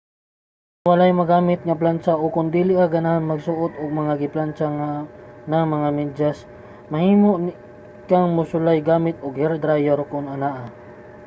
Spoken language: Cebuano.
kon walay magamit nga plantsa o kon dili ka ganahan magsuot og mga giplantsa na mga medyas mahimo kang mosulay gamit og hairdryer kon anaa